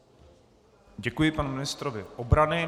Děkuji panu ministrovi obrany.